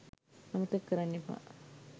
අමතක කරන්නෙපා